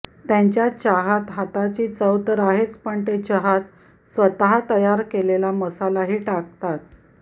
त्यांच्या चहात हाताची चव तर आहेच पण ते चहात स्वतः तयार केलेला मसालाही टाकतात